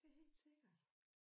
Det helt sikkert